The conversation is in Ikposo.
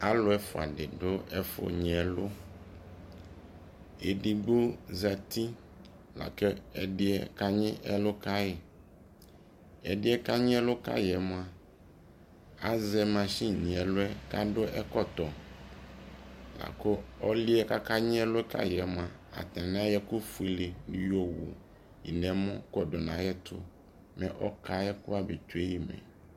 Alu ɛfua di du ɛfu nyi ɛlu Ɛdigbo zati, la kɛ ɛdi yɛ ka nyi ɛlu ka yi Ɛdi yɛ ka nyi ɛlu ka yi yɛ mua, azɛ mashi nɛ luɛ ka du ɛkɔtɔ La ku ɔli yɛ kaka nyi ɛlu kayi mua, atani ayɔ ɛku fuele yɔwu nɛ mɔ kɔdu nayɛ tu mɛ ɔkaɛ kɔfa bɛ tsue yi mɛ